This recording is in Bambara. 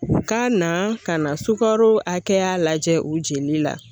Ka na ka na sukaro hakɛya lajɛ u jeli la